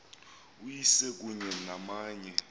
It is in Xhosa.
uyise kunye namanye